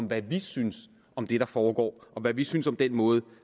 hvad vi synes om det der foregår og hvad vi synes om den måde